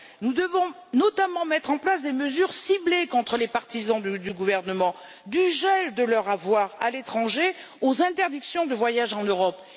Nous devons notamment mettre en place des mesures ciblées contre les partisans du gouvernement, du gel de leurs avoirs à l'étranger aux interdictions de voyage en Europe.